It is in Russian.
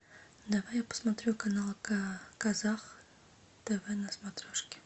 давай я посмотрю канал казах тв на смотрешке